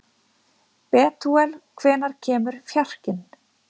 Betúel, hvenær kemur fjarkinn?